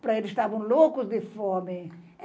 para eles estavam loucos de fome.